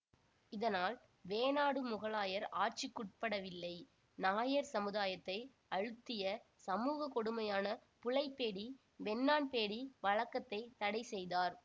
இதனால் வேணாடு முகலாயர் ஆட்சிக்குட்படவில்லை நாயர் சமுதாயத்தை அழுத்திய சமூக கொடுமையான புலைப் பேடி வெண்ணான் பேடி வழக்கத்தை தடை செய்தார்